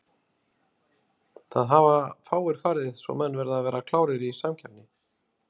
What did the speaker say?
Það hafa fáir farið svo menn verða að vera klárir í samkeppni.